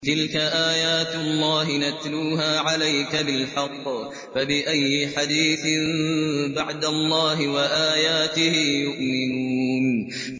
تِلْكَ آيَاتُ اللَّهِ نَتْلُوهَا عَلَيْكَ بِالْحَقِّ ۖ فَبِأَيِّ حَدِيثٍ بَعْدَ اللَّهِ وَآيَاتِهِ يُؤْمِنُونَ